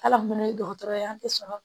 Hal'an fana ye dɔgɔtɔrɔ ye an tɛ sɔrɔ